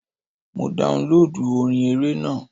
Mo daunlóòdù orin eré náà..